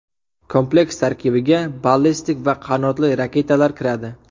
Kompleks tarkibiga ballistik va qanotli raketalar kiradi.